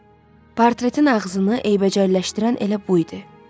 Portretin ağzını eybəcərləşdirən elə bu idi.